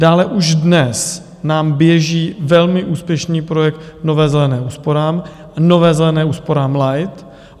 Dále už dnes nám běží velmi úspěšný projekt Nová zelená úsporám, Nová zelená úsporám Light.